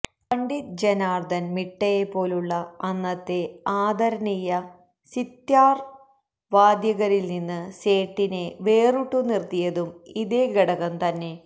പണ്ഡിറ്റ് ജനാർദൻ മിട്ടയെപ്പോലുള്ള അന്നത്തെ ആദരണീയ സിത്താർ വാദകരിൽനിന്ന് സേഠിനെ വേറിട്ടുനിർത്തിയതും ഇതേ ഘടകംതന്നെ